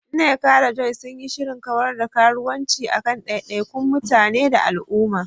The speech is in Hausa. Nneka da Joy sun yi shirin kawar da karuwanci a kan daidaikun mutane da al'umma.